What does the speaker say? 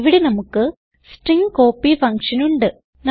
ഇവിടെ നമുക്ക് string copy function ഉണ്ട്